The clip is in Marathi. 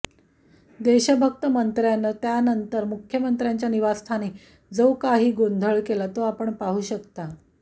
देशभक्त मंत्र्यांनं त्यानंतर मुख्यमंत्र्यांच्या निवासस्थानी जो काही गोंधळ केला तो आपण पाहू शकतो